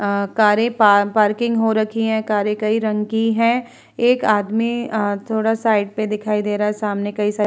अ कारे पा पार्किंग हो रखी है कारे कई रंग की है एक आदमी अ थोडा साइड पे दिखाई दे रहा है सामने कई सार --